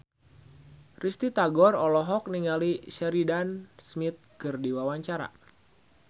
Risty Tagor olohok ningali Sheridan Smith keur diwawancara